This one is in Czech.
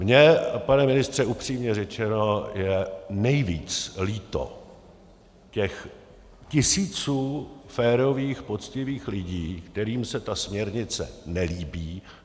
Mně, pane ministře, upřímně řečeno je nejvíc líto těch tisíců férových, poctivých lidí, kterým se ta směrnice nelíbí.